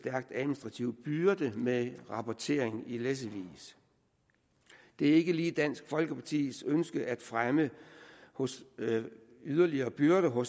administrativ byrde med rapportering i læssevis det er ikke lige dansk folkepartis ønske at fremme yderligere byrder på